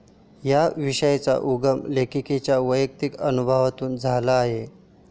या विषयाचा उगम लेखिकेच्या वैयक्तिक अनुभवातून झाला आहे.